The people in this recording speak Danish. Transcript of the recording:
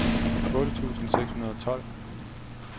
otte tusind seks hundrede og tolv